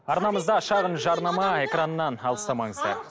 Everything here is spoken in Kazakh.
арнамызда шағын жарнама экраннан алыстамаңыздар